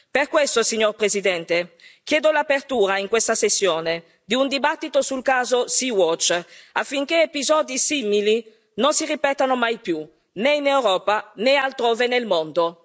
Per questo, signor Presidente, chiedo l'apertura in questa sessione di un dibattito sul caso Sea Watch, affinché episodi simili non si ripetano mai più, né in Europa né altrove nel mondo.